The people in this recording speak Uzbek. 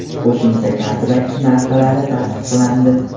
Qo‘shimcha kontrakt narxlari tasdiqlandi.